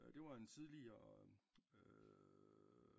Det var en tideligere